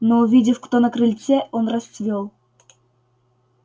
но увидев кто на крыльце он расцвёл